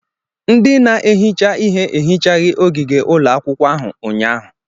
Ndị na-ehicha ihe ehichaghị ogige ụlọ akwụkwọ ahụ ụnyaahụ.